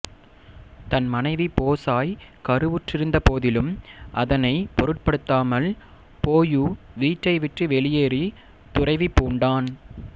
தன் மனைவி போசாய் கருவுற்றிருந்த போதிலும் அதனை பொருட்படுத்தாமல் போயூ வீட்டை விட்டு வெளியேறி துறவி பூண்டான்